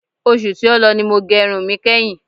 Oṣù tí ó lọ ni mo gẹ irun mi kẹ́hin.